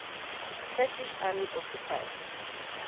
turkish army occupied